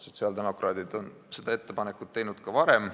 Sotsiaaldemokraadid on seda ettepanekut teinud ka varem.